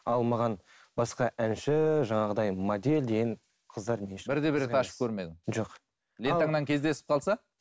ал маған басқа әнші жаңағыдай модель деген қыздар лентаңнан кездесіп қалса